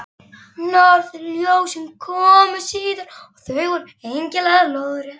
Norðurljósin komu síðar, og þau voru einkennilega lóðrétt.